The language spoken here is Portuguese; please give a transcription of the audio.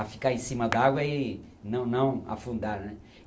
A ficar em cima d'água e não não afundar, né?